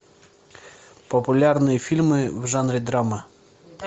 популярные фильмы в жанре драма